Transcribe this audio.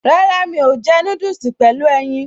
Rárá, mi ò jẹ́ núdùsì pẹ̀lú ẹyin